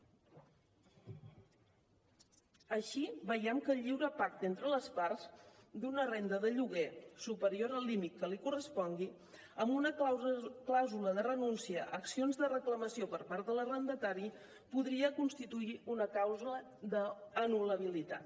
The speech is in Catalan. així veiem que el lliure pacte entre les parts d’una renda de lloguer superior al límit que li correspongui amb una clàusula de renúncia a accions de reclamació per part de l’arrendatari podria constituir una clàusula d’anul·labilitat